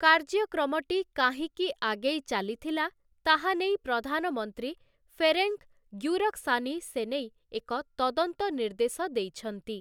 କାର୍ଯ୍ୟକ୍ରମଟି କାହିଁକି ଆଗେଇ ଚାଲିଥିଲା ତାହା ନେଇ ପ୍ରଧାନମନ୍ତ୍ରୀ ଫେରେନ୍‌କ୍ ଗ୍ୟୁରକ୍‌ସାନି ସେନେଇ ଏକ ତଦନ୍ତ ନିର୍ଦ୍ଦେଶ ଦେଇଛନ୍ତି ।